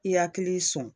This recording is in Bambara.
I hakili sɔn